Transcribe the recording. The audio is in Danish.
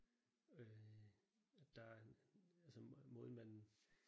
Øh der er en altså måden man